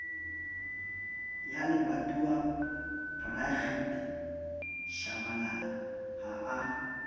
ya lebatowabrigitte shabalala ha a